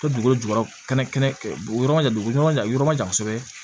Dugukolo jukɔrɔ kɛnɛ ma jan u bɛ yɔrɔ jan yɔrɔ ma jan kosɛbɛ